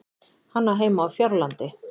Hann á heima á Fjárlandi.